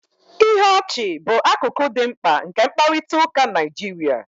Ihe ọchị bụ akụkụ dị mkpa nke mkparịta ụka Naịjirịa